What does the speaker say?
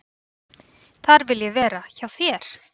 """Þar vil ég vera, hjá þér."""